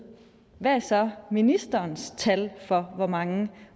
hvad der så er ministerens tal for hvor mange